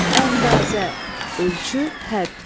Əndazə, ölçü, hədd.